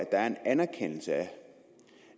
der er en erkendelse